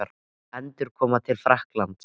Endurkoma til Frakklands?